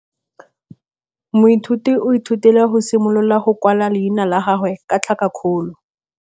Moithuti o ithutile go simolola go kwala leina la gagwe ka tlhakakgolo.